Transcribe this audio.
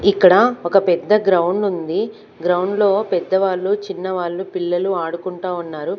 ఇక్కడ ఒక పెద్ద గ్రౌండ్ ఉంది గ్రౌండ్లో పెద్దవాళ్ళు చిన్నవాళ్లు పిల్లలు ఆడుకుంటా ఉన్నారు.